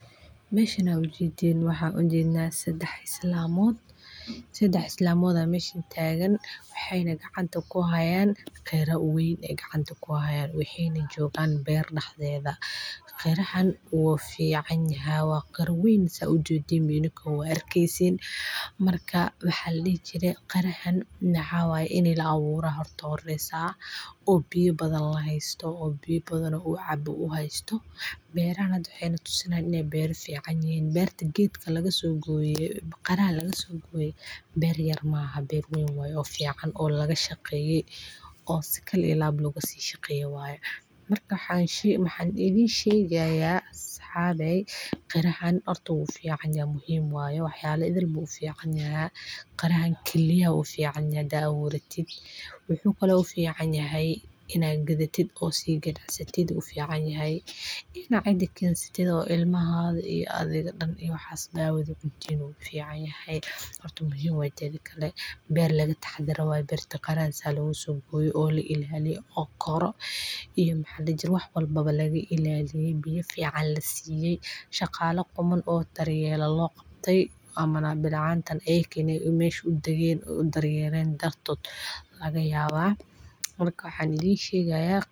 Qare waa midho aad u macaan oo ka baxa geedo yaryar oo duurjoog ah, waxaana lagu cabbaa marka qabow ama marka kulayl badan, waxa uu leeyahay biyo badan oo ku filan in uu quudiyo qofka, waxaana inta badan laga helaa goobaha qoraxda badan ee Afrika, Aasiya, iyo qeybo ka mid ah Ameerika, waxaana lagu isticmaalaa siyo kala duwan sida saliidda, macmacaanka, iyo xataa cuntooyinka qaliinka, waxaana jirta noocyo kala duwan oo qare ah sida kan cas, kan cagaaran, iyo kan midabkiisu yahay oranji, waxaana lagu dareemi karaa si qoyan ama la isku daro midho kale, waxaana uu ka mid yahay miraha la cabbo ee ugu caansan adduunka, waxaana loo isticmaalaa marar badan xilliga kulaylka maxaa yeelay wuxuu yeeshaa jidh qabow oo ku oolin